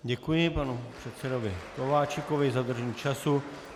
Děkuji panu předsedovi Kováčikovi za dodržení času.